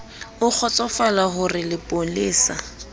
o kgotsofale ho re lepolesa